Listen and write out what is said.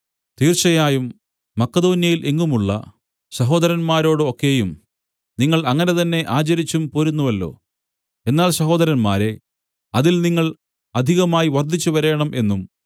തീർച്ചയായും മക്കെദോന്യയിൽ എങ്ങുമുള്ള സഹോദരന്മാരോട് ഒക്കെയും നിങ്ങൾ അങ്ങനെ തന്നെ ആചരിച്ചും പോരുന്നുവല്ലോ എന്നാൽ സഹോദരന്മാരേ അതിൽ നിങ്ങൾ അധികമായി വർദ്ധിച്ചുവരേണം എന്നും